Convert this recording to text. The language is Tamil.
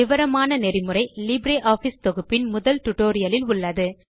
விவரமான நெறிமுறை லிப்ரியாஃபிஸ் தொகுப்பின் முதல் டுடோரியலில் உள்ளது